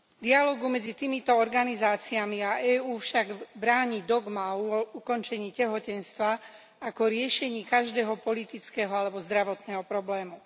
Dialógu medzi týmito organizáciami a EÚ však bráni dogma o ukončení tehotenstva ako riešení každého politického alebo zdravotného problému.